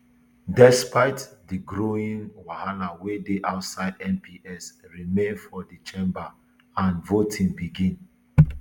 despite di growing wahala wey dey outside mps remain for di chamber and di voting begin